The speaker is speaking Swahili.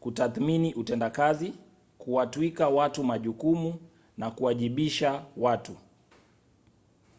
kutathmini utendakazi kuwatwika watu majukumu na kuwajibisha watu